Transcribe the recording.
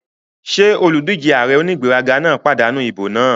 Ṣé olùdíjé ààrẹ onígbéraga náà pàdánù ìbò náà?